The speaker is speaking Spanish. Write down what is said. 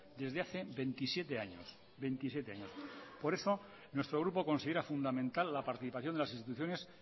desde hace veintisiete años veintisiete años por eso nuestro grupo considera fundamental la participación de las instituciones